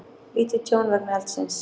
Lítið tjón vegna eldsins